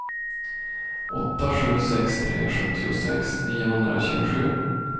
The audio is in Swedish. åtta sju sex tre sjuttiosex niohundratjugosju